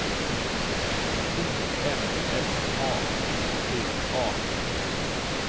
O M F A T T A